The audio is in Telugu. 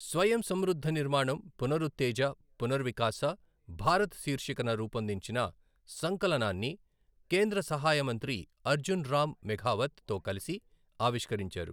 స్వయం సమృద్ధ నిర్మాణం, పునరుత్తేజ, పునర్వికాస భారత్ శీర్షికన రూపొందించిన సంకలనాన్ని కేంద్ర సహాయ మంత్రి అర్జున్ రామ్ మెఘావత్ తో కలసి ఆవిష్కరించారు.